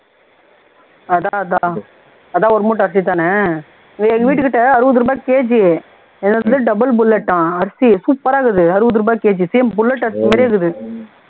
அதான் அதான் அதான் ஒரு மூட்டைஅரிசிதான எங்க வீட்டுகிட்ட அறுபது ரூபாய் kg ஏதோஅது double bullet ஆம் அரிசி supper ஆ இருக்குது அறுபது ரூபாய் kgsame bullet அரிசி மாதிரியே இருக்குது